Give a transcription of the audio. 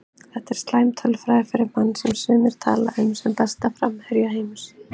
Þetta er slæm tölfræði fyrir mann sem sumir vilja tala um sem besta framherja heims.